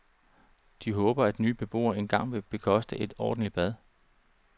De håber, at nye beboere engang vil bekoste et ordentligt bad.